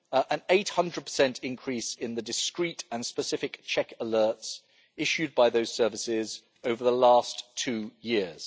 An 800 increase in the discreet and specific check alerts issued by those services over the last two years.